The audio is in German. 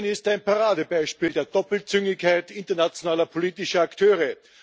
Syrien ist ein Paradebeispiel der Doppelzüngigkeit internationaler politischer Akteure.